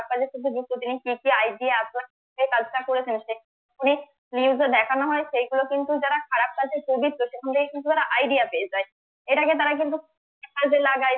কাজের সাথে যুক্ত তিনি কি কি idea এই কাজটা করেছেন উনি news এ দেখানো হয় সেইগুলো কিন্তু যারা খারাপ কাজের সেখানে কিন্তু ওরা idea পেয়ে যাই এটাকে তারা কিন্তু কাজে লাগাই